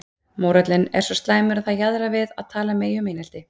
Mórallinn er svo slæmur að það jaðrar við að tala megi um einelti.